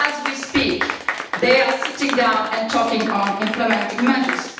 As we speak they are sitting down and talking about implementing measures.